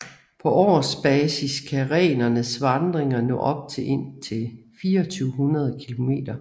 På årsbasis kan renernes vandringer nå op på indtil 2400 km